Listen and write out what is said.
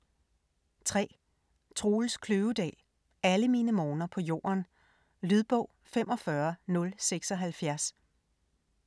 3. Kløvedal, Troels: Alle mine morgener på jorden Lydbog 45076